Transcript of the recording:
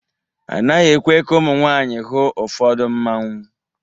A naghị ekwe ka ụmụ nwanyị hụ ụfọdụ Mmanwu.